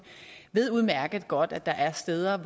ved udmærket godt at der er steder